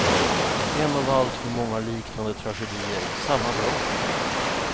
En av alltför många liknande tragedier samma dag.